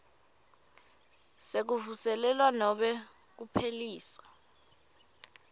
sekuvuselelwa nobe kuphelisa